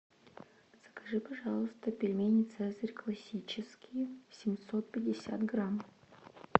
закажи пожалуйста пельмени цезарь классические семьсот пятьдесят грамм